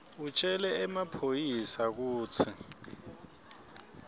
utjele emaphoyisa kutsi